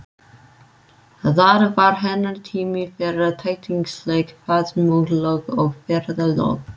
Það var hennar tími fyrir tætingsleg faðmlög og ferðalög.